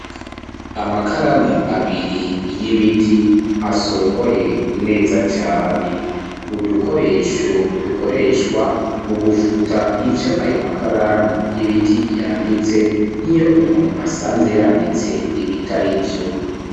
Amakaramu abiri y'ibiti asongoye neza cane, udukoresho dukoreshwa mu gufuta ivyo ayo makaramu y'ibiti yanditse nkiyo umuntu asanze yanditse ibitarivyo.